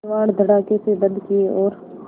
किवाड़ धड़ाकेसे बंद किये और